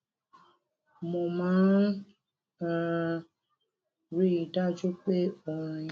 mo máa n um rí i dájú pé orin